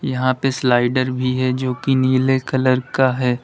यहां पे स्लाइडर भी है जो कि नीले कलर का है।